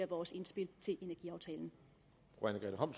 vores indspil til energiaftalen